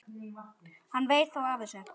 Hann veit þá af þessu?